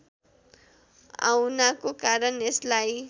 आउनाको कारण यसलाई